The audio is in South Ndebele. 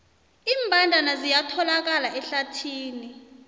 iimbandana ziyatholakala ehlathini